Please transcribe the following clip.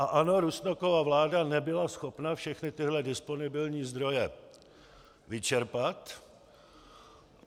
A ano, Rusnokova vláda nebyla schopna všechny tyhle disponibilní zdroje vyčerpat.